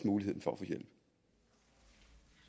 mulighed for